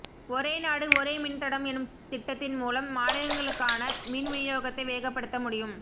ஒரே நாடு ஒரே மின்தடம் எனும் திட்டத்தின் மூலம் மாநிலங்களுக்கான மின் விநியோகத்தை வேகப்படுத்த முடியும்